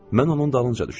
Mən onun dalınca düşdüm.